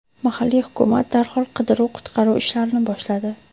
Mahalliy hukumat darhol qidiruv-qutqaruv ishlarini boshladi.